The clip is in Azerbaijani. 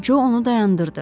Co onu dayandırdı.